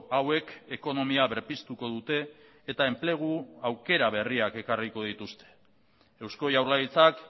hauek ekonomia berpiztuko dute eta enplegu aukera berriak ekarriko dituzte eusko jaurlaritzak